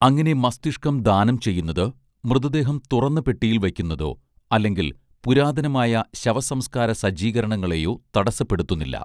അങ്ങനെ മസ്തിഷ്കം ദാനം ചെയ്യുന്നത് മൃതദേഹം തുറന്ന പെട്ടിയിൽ വയ്ക്കുന്നതോ അല്ലെങ്കിൽ പുരാതനമായ ശവസംസ്ക്കാര സജ്ജീകരണങ്ങളേയോ തടസ്സപ്പെടുത്തുന്നില്ല